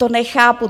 To nechápu.